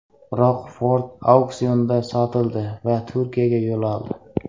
Biroq Ford auksionda sotildi va Turkiyaga yo‘l oldi.